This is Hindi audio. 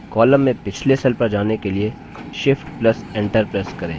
column में पिछले cell पर जाने के लिए shift + enter प्रेस करें